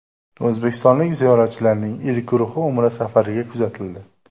O‘zbekistonlik ziyoratchilarning ilk guruhi Umra safariga kuzatildi.